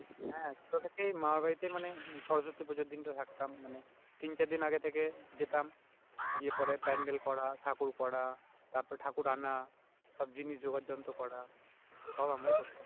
হ্যাঁ ছোট থেকেই মামার বাড়িতেই মানে সরস্বতী পূজার দিন টা থাকতাম মানে তিন চার দিন আগে থেকে যেতাম গিয়ে পরে প্যান্ডেল করা ঠাকুর করা তারপর ঠাকুর আনা, সব জিনিস যোগার জন্তোত করা, সব আমরাই করতাম